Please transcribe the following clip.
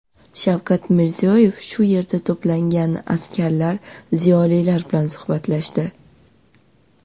Shavkat Mirziyoyev shu yerga to‘plangan askarlar, ziyolilar bilan suhbatlashdi.